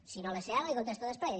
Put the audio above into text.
si no les sé ara les hi contesto després